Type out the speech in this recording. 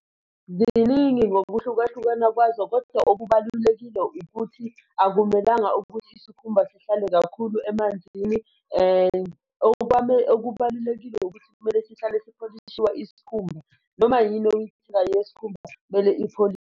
Ziningi ngokuhlukahlukana kwazo, kodwa okubalulekile ukuthi akumelanga ukuthi isikhumba sihlale kakhulu emanzini okubalulekile ukuthi kumele sihlale sipholishiwa isikhumba noma yini insika yesikhumba kumele .